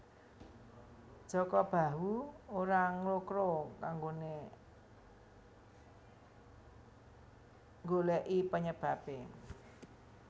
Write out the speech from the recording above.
Jaka Bahu ora nglokro anggone nggoleki penyebabe